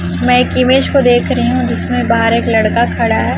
मैं एक इमेज को देख रही हूं जिसमें बाहर एक लड़का खड़ा है।